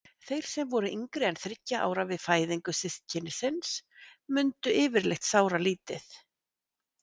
Þeir sem voru yngri en þriggja ára við fæðingu systkinisins mundu yfirleitt sáralítið.